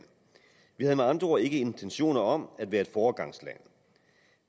vi havde med andre ord ikke intentioner om at være et foregangsland